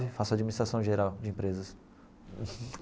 Faço Administração Geral de Empresas.